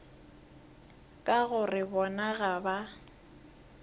ka gore bona ga ba